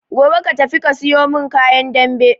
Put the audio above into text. Gobe ka tafi ka suyo mun kayan dambe